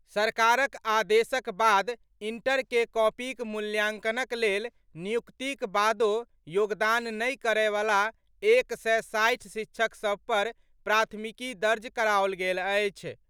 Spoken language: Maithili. सरकारक आदेशक बाद इंटर के कॉपीक मूल्यांकनक लेल नियुक्तिक बादो योगदान नहि करए वला एक सय साठि शिक्षक सभ पर प्राथमिकी दर्ज कराओल गेल अछि।